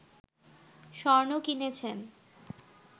স্বর্ণ কিনেছেন